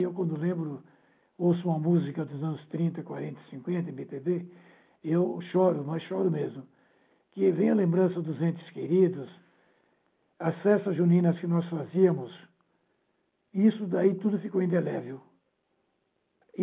eu, quando lembro, ouço uma música dos anos trinta, quarenta, cinquenta, eme pê bê, eu choro, mas choro mesmo, que vem a lembrança dos entes queridos, as festas juninas que nós fazíamos, isso daí tudo ficou indelével.